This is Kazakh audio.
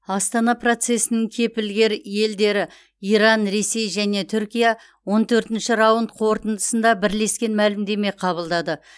астана процесінің кепілгер елдері иран ресей және түркия он төртінші раунд қорытындысында бірлескен мәлімдеме қабылдады